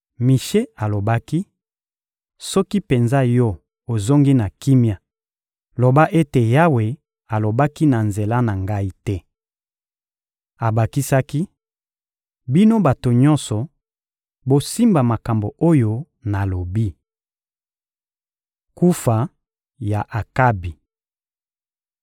Mishe alobaki: — Soki penza yo ozongi na kimia, loba ete Yawe alobaki na nzela na ngai te! Abakisaki: — Bino bato nyonso, bosimba makambo oyo nalobi! Kufa ya Akabi (2Ma 18.28-34)